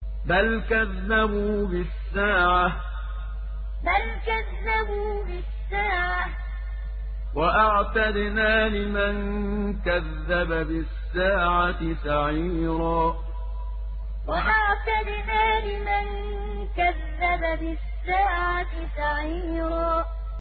بَلْ كَذَّبُوا بِالسَّاعَةِ ۖ وَأَعْتَدْنَا لِمَن كَذَّبَ بِالسَّاعَةِ سَعِيرًا بَلْ كَذَّبُوا بِالسَّاعَةِ ۖ وَأَعْتَدْنَا لِمَن كَذَّبَ بِالسَّاعَةِ سَعِيرًا